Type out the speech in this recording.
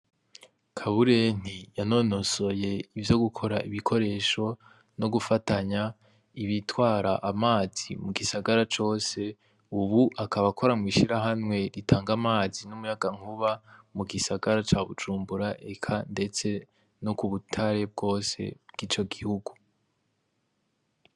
Kabureni yanonosoye ivyo gukora ibikoresho no gufatanya ibitwara amazi mu gisagara cose, Ubu akaba akora mu ishirahamwe ritanga amazi n'umuyagankuba mu gisagara ca Bujumbura, eka ndetse no kubutare bwose bw'ico gihugu.